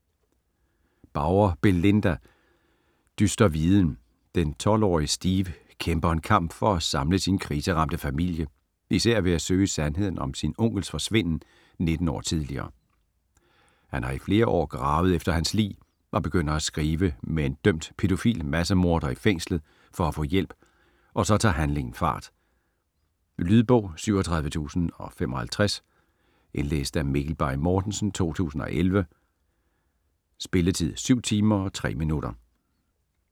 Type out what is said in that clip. Bauer, Belinda: Dyster viden Den 12-årige Steve kæmper en kamp for at samle sin kriseramte familie især ved at søge sandheden om sin onkels forsvinden 19 år tidligere. Han har i flere år gravet efter hans lig og begynder at skrive med en dømt, pædofil massemorder i fængslet for at få hjælp, og så tager handlingen fart. Lydbog 37055 Indlæst af Mikkel Bay Mortensen, 2011. Spilletid: 7 timer, 3 minutter.